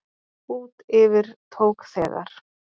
Út yfir tók þegar